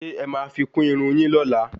ṣé ẹ ma fi kún Irun yin lóla?